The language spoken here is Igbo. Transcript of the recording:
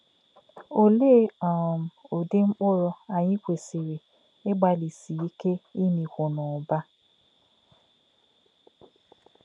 Ọ̀lē̄ um ūdí̄ mkpụ̀rụ́ ànyí̄ kwèsị̀rị̀ ígbà̄lí̄sí̄ íkè̄ ìmī̄kwù̄ n’ụ̀bà̄?